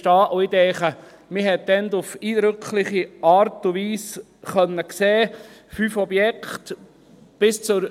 Und ich denke, man hat damals auf eindrückliche Art und Weise fünf Objekte sehen können.